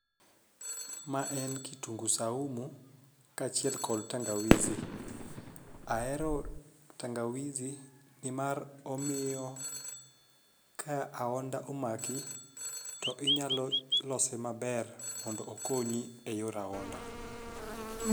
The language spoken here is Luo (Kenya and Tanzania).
Ma en kitungu saumu kaachiel kod tangawizi ahero tangawizi nimar omiyo ka ahonda omaki to inyalo lose maber mondo okonyi e yor ahonda.